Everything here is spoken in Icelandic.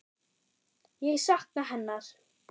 Ég sakna hennar.